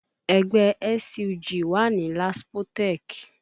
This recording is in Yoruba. Ẹgbẹ́ SUG wà ní Laspotech